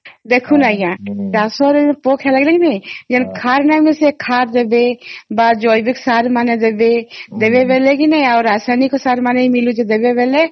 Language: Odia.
ଦେଖୁନ ଆଂଜ୍ଞା ଦାସ ରୁ ପୋକ ଖାଇବର ନାଇଁ ଯାହାର ଖାର ନାହିଁ ସେ ଖାର କରିବେ ବାସ ଜୈବିକ ସାର ମାନେ ଦେବେ ଦେବେ ବେଳେ ଆଉ ରାସାୟନିକ ସାର ମାନେ ବି ମିଳୁଛି ଦେବେ ବେଳେ